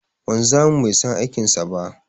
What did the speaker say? Wanzamin bai san aikin sa ba.